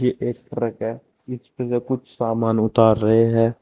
ये एक ट्रक है उसमें से कुछ सामान उतार रहे हैं।